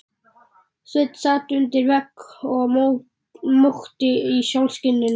Sveinn sat undir vegg og mókti í sólskininu.